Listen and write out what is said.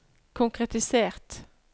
konkretisert